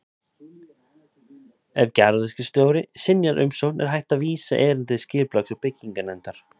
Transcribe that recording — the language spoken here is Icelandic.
Ef garðyrkjustjóri synjar umsókn er hægt að vísa erindi til Skipulags- og bygginganefndar.